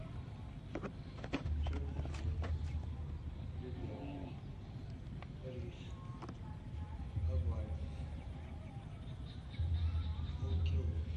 черный хлеб лебяжий рис овальный полкило